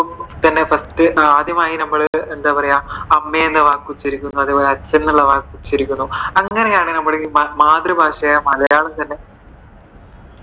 തന്നെ first ആദ്യമായി നമ്മൾ എന്താ പറയുവാ അമ്മ എന്ന വാക്ക് ഉച്ചരിക്കുന്നു, അതേപോലെ അച്ഛൻ എന്ന വാക്ക് ഉച്ചരിക്കുന്നു. അങ്ങനെയാണ് നമ്മൾ മാതൃഭാഷയെ